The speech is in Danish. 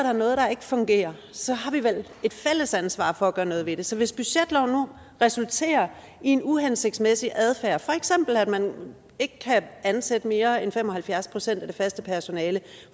er noget der ikke fungerer så har vi vel et fælles ansvar for at gøre noget ved det så hvis budgetloven nu resulterer i en uhensigtsmæssig adfærd for eksempel at man ikke kan ansætte mere end fem og halvfjerds procent af det faste personale